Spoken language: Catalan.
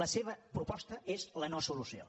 la seva proposta és la no·solució